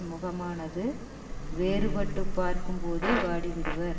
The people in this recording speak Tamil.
முகமானது வேறுபட்டுப் பார்க்கும்போதே வாடிவிடுவர்